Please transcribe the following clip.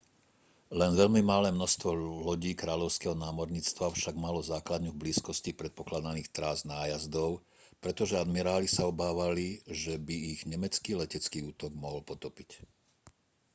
len veľmi malé množstvo lodí kráľovského námorníctva však malo základňu v blízkosti predpokladaných trás nájazdov pretože admiráli sa obávali že by ich nemecký letecký útok mohol potopiť